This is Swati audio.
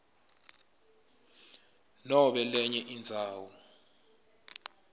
nobe lenye indzawo